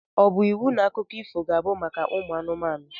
Ọ bu iwu na akụkọ ifo ga abụ maka anumanu?